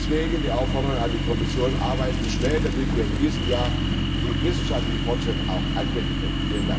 Deswegen die Aufforderung an die Kommission Arbeiten Sie schnell, damit wir in diesem Jahr den wissenschaftlichen Fortschritt auch anwenden können!